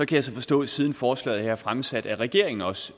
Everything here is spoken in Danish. kan så forstå at siden forslaget her blev fremsat vil regeringen også